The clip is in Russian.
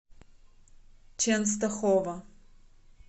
ченстохова